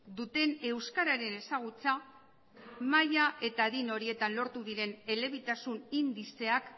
duten euskararen ezagutza maila eta adin horietan lortu diren elebitasun indizeak